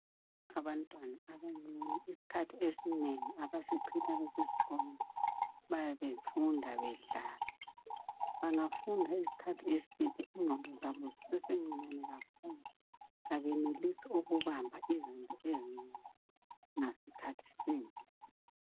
Abantu abancani isikhathi esinengi abasichitha besesikolo bayabe befunda bedlala bangafunda isikhathi eside ingqondo zabo zisesencinyane kakhulu kabenelisi ukubala izinto ezinengi ngasikhathi sinye.